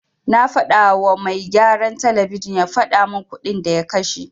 Na fadawa mai gyaran talabijin ya fadamin kuɗin da ya kashe.